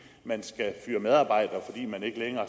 man ikke længere